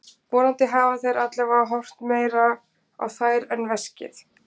Vonandi hafa þeir allavega horft meira á þær en veskið.